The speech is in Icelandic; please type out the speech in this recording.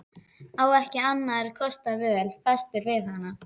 Á ekki annarra kosta völ, fastur við hana.